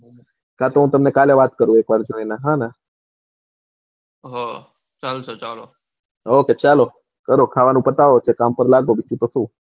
કા તો હું તમને કાલે વાત કરું એક વાર જોઈને હા ને હા ચાલશે ચાલો Okay ચાલો ખાવાનું પતાવો ને કામ પર લાગો બીજું સુ,